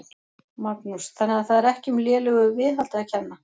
Magnús: Þannig að það er ekki um lélegu viðhaldi að kenna?